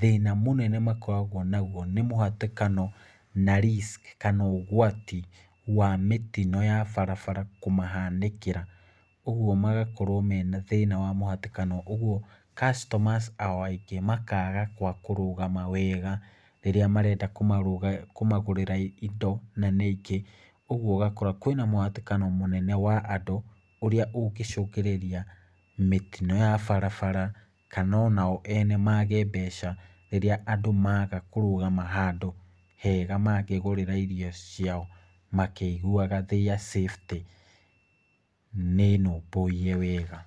thĩna mũnene makoragwo naguo nĩ mũhatĩkano na risk kana ũgwati wa mĩtino ya barabara kũmahanĩkĩra. Ũguo magakorwo mena thĩna wa mũhatĩkano ũguo customer ao aingĩ makaga gwa kũrũgama wega rĩrĩa marenda kũmagũrĩra indo na nĩ aingĩ. Ũguo ũgakora kwĩna mũhatĩkano mũnene wa andũ ũrĩa ũngĩcũngĩrĩria mĩtino ya barabara kana ona o ene maage mbeca rĩrĩa andũ maga kũrugama handu hega mangĩgũrĩra indo ciao, makĩiguaga their safety nĩ nũmbũiye wega.